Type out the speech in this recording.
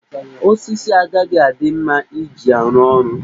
Osisi a agaghị adị mma iji arụ ọrụ.